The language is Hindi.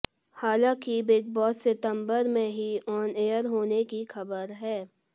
हालांकि बिग बॅास सितबंर में ही आॅन एयर होने की खबर है